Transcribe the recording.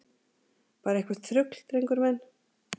Bara eitthvert þrugl, drengur minn.